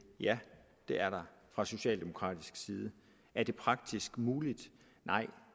ja det er der fra socialdemokratisk side er det praktisk muligt nej